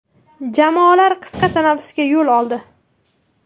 Jamoalar qisqa tanaffusga yo‘l oldi.